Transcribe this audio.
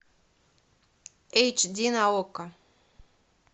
эйч ди на окко